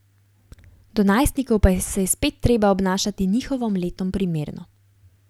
Do najstnikov pa se je spet treba obnašati njihovim letom primerno.